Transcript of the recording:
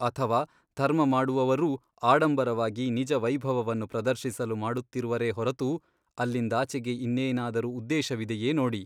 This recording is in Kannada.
ಅಥವಾ ಧರ್ಮಮಾಡುವವರೂ ಆಡಂಬರವಾಗಿ ನಿಜ ವೈಭವವನ್ನು ಪ್ರದರ್ಶಿಸಲು ಮಾಡುತ್ತಿರುವರೇ ಹೊರತು ಅಲ್ಲಿಂದಾಚೆಗೆ ಇನ್ನೇನಾದರೂ ಉದ್ದೇಶವಿದೆಯೇ ನೋಡಿ.